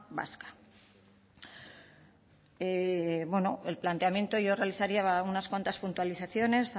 el planteamiento yo realizaría una cuantas puntualizaciones